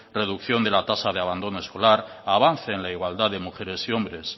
reducción de la tasa de abandono escolar avance en la igualdad de mujeres y hombre